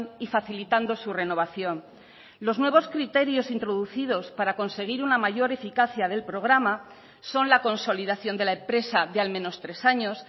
y facilitando su renovación los nuevos criterios introducidos para conseguir una mayor eficacia del programa son la consolidación de la empresa de al menos tres años